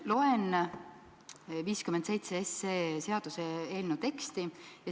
Loen seaduseelnõu 57 teksti.